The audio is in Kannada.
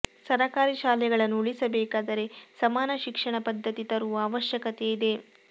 ಸರಕಾರಿ ಶಾಲೆಗಳನ್ನು ಉಳಿಸಬೇಕಾದರೆ ಸಮಾನ ಶಿಕ್ಷಣ ಪದ್ದತಿ ತರುವ ಅವಶ್ಯಕತೆ ಇದೆ